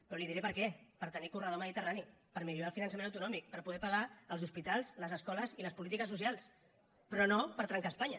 però li diré per què per tenir corredor mediterrani per millorar el finançament autonòmic per poder pagar els hospitals les escoles i les polítiques socials però no per trencar espanya